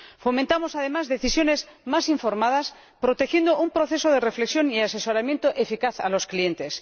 Fomentamos, además, decisiones más informadas, protegiendo un proceso de reflexión y asesoramiento eficaz a los clientes.